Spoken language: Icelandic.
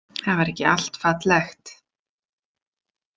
Það var ekki allt fallegt.